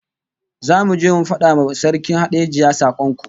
Zamu je mu fada wa Sarkin Hadejia sakon